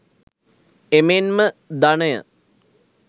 එමෙන්ම ධනය